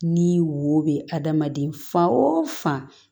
Ni wo bɛ adamaden fa o fan